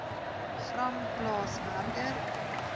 gram plaas werker